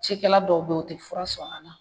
Cikɛla dɔw bɛ yen u tɛ fura sɔn a la